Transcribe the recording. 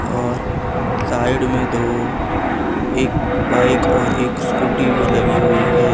और साइड मे दो एक बाइक और एक स्कूटी भी लगी हुई है।